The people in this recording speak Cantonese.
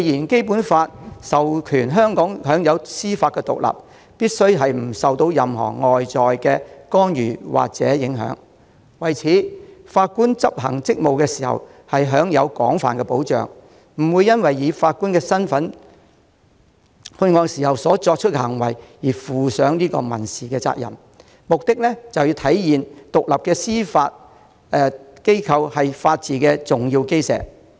《基本法》訂明香港享有司法獨立，必須不受任何外在干預或影響，法官執行職務時亦享有廣泛保障，不會因為以法官身份作出判決而負上民事責任，目的是要體現獨立的司法機構是法治的重要基石。